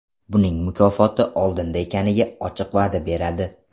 Buning mukofoti oldinda ekaniga ochiq va’da beradi.